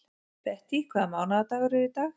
Bettý, hvaða mánaðardagur er í dag?